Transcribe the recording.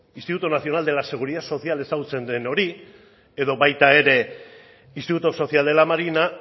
instituto nazional de la seguridad social bezala ezagutzen den hori edo baita ere instituto social de la marina